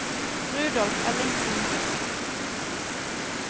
Rudolf Ellingsen